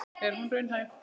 En er hún raunhæf?